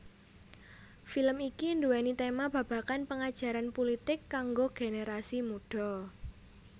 Film iki duwéni tema babagan pengajaran pulitik kanggo generasi mudha